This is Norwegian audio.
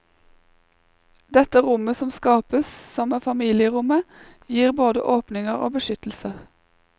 Dette rommet som skapes, som er familierommet, gir både åpninger og beskyttelser.